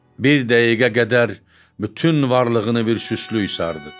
Bir dəqiqə qədər bütün varlığını bir süstlüyü sardı.